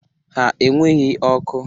Ha enweghi ọkụ.